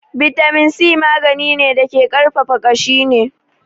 Bitamin C magani ne da ke ƙarfafa ƙashi ne